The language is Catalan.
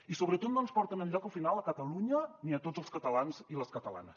i sobretot no ens porten enlloc al final a catalunya ni a tots els catalans i les catalanes